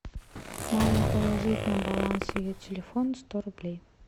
мама положить на баланс ее телефона сто рублей